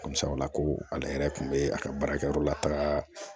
Barisa o la ko ale yɛrɛ kun bɛ a ka baarakɛyɔrɔ la taga